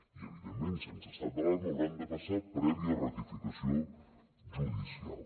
i evidentment sense estat d’alarma hauran de passar prèvia ratificació judicial